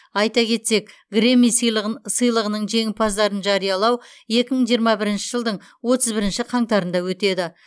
айта кетсек грэмми сыйлығының жеңімпаздарын жариялау екі мың жиырма бірінші жылдың отыз бірінші қаңтарында өтеді